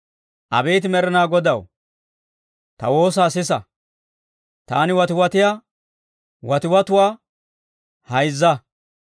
Abeet Med'inaa Godaw, ta woosaa sisa; taani watiwatiyaa watiwatuwaa hayzza.